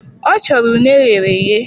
Ọ chọrọ une eghereghe